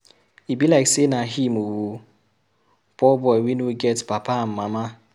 E be like say na him oo. Poor boy wey no get papa and mama.